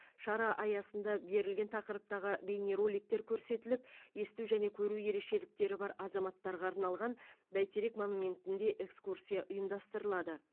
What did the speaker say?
шара аясында берілген тақырыптағы бейнероликтер көрсетіліп есту және көру ерекшеліктері бар азаматтарға арналған бәйтерек монументінде экскурсия ұйымдастырылады